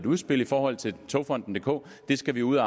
udspil i forhold til togfonden dk det skal vi ud